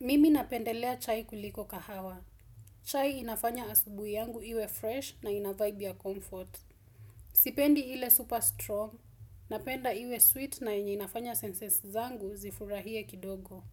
Mimi napendelea chai kuliko kahawa. Chai inafanya asubu yangu iwe fresh na ina vibe ya comfort. Sipendi ile super strong. Napenda iwe sweet na inye inafanya senses zangu zifurahie kidogo.